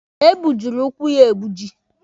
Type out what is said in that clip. E gbujiri ụkwụ ya egbuji.